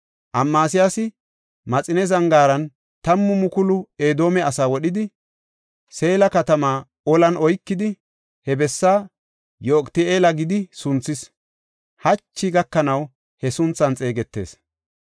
Amasiyaasi Maxine Zangaaran tammu mukulu Edoome asaa wodhidi, Seela katamaa olan oykidi, he bessa Yoqiti7eela gidi sunthis; hachi gakanaw he sunthan xeegetees.